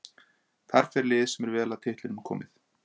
Þar fer lið sem er vel að titlinum komið.